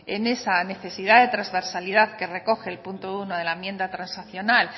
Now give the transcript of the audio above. en esa necesidad de trasversalidad que recoge el punto uno de la enmienda transaccional